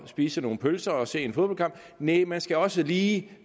spise nogle pølser og se en fodboldkamp næh man skal også lige